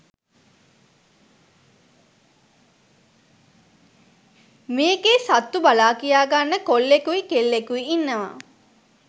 මේකේ සත්තු බලාකියා ගන්න කොල්ලෙකුයි කෙල්ලෙකුයි ඉන්නවා.